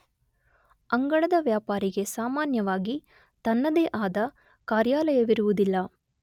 ಅಂಗಳದ ವ್ಯಾಪಾರಿಗೆ ಸಾಮಾನ್ಯವಾಗಿ ತನ್ನದೇ ಆದ ಕಾರ್ಯಾಲಯವಿರುವುದಿಲ್ಲ.